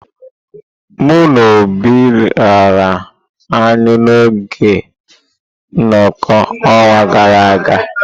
Mụ na Obi riri anyụ n'oge nnoko n'ọnwa gara aga.